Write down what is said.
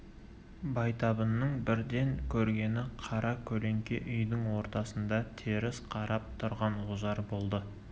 байтабынның бірден көргені қара көлеңке үйдің ортасында теріс қарап тұрған ожар болды